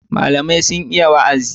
Malamai sun iya wa'azi.